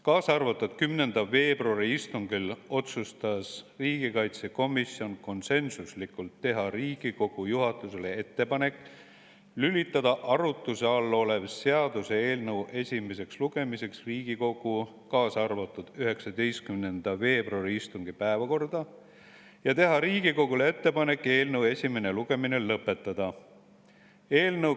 Käesoleva aasta 10. veebruari istungil otsustas riigikaitsekomisjon konsensuslikult teha Riigikogu juhatusele ettepaneku lülitada arutuse all olev seaduseelnõu esimeseks lugemiseks Riigikogu 19. veebruari istungi päevakorda ja teha Riigikogule ettepaneku eelnõu esimene lugemine lõpetada.